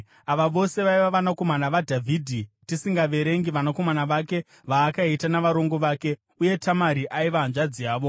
Ava vose vaiva vanakomana vaDhavhidhi, tisingaverengi vanakomana vake vaakaita navarongo vake. Uye Tamari aiva hanzvadzi yavo.